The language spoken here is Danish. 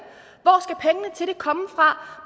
komme fra